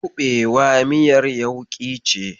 Kuɓewa miyar yauƙi ce.